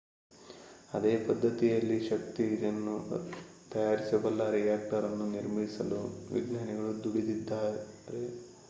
ಅದೇ ಪದ್ಧತಿಯಲ್ಲಿ ಶಕ್ತಿಯನ್ನು ತಯಾರಿಸಬಲ್ಲ ರಿಯಾಕ್ಟರ್ ಅನ್ನು ನಿರ್ಮಿಸಲು ವಿಜ್ಞಾನಿಗಳು ದುಡಿಯುತ್ತಿದ್ದಾರೆ